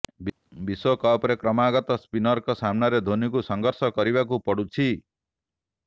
ବିଶ୍ବକପରେ କ୍ରମାଗତ ସ୍ପିନରଙ୍କ ସାମ୍ନାରେ ଧୋନୀଙ୍କୁ ସଂଘର୍ଷ କରିବାକୁ ପଡୁଛି